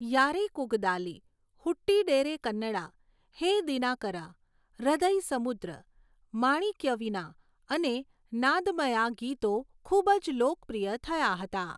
'યારેકૂગદાલી', 'હુટ્ટીડેરે કન્નડા', 'હે દિનાકરા', 'હૃદયસમુદ્ર', 'માણિક્યવીના' અને 'નાદમયા' ગીતો ખૂબ જ લોકપ્રિય થયા હતા.